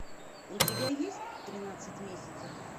у тебя есть тринадцать месяцев